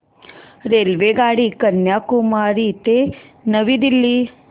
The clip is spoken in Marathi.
रेल्वेगाडी कन्याकुमारी ते नवी दिल्ली